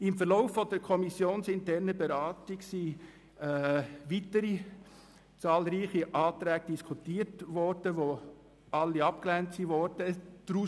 Im Lauf der kommissionsinternen Beratung wurden zahlreiche weitere Anträge diskutiert, die allerdings alle abgelehnt wurden.